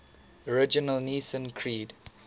original nicene creed